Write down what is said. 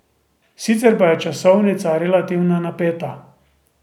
Sicer pa je časovnica relativno napeta.